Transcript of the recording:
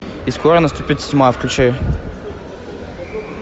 и скоро наступит тьма включай